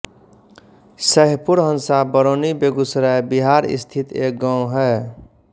सैहपुर हँसा बरौनी बेगूसराय बिहार स्थित एक गाँव है